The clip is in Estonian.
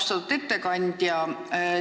Austatud ettekandja!